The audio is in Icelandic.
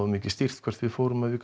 mikið stýrt hvert við fórum og við